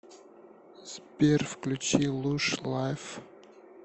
сбер включи луш лайф